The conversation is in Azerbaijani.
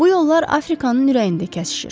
Bu yollar Afrikanın ürəyində kəsişir.